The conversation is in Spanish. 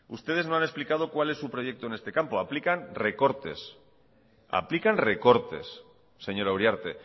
ustedes no han explicado cuál es su proyecto en este campo aplican recortes señora uriarte